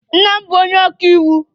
Nna m bụ onye ọka iwu.